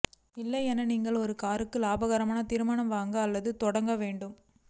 இல்லை என்ன நீங்கள் ஒரு காருக்கு இலாபகரமான திருமணம் வாங்க அல்லது தொடங்க வேண்டும்